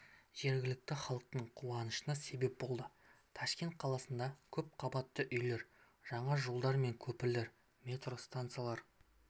жергілікті халықтың қуанышына себеп болды ташкент қаласында көпқабатты үйлер жаңа жолдар мен көпірлер метро стансалары